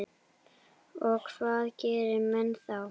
Og hvað gera menn þá?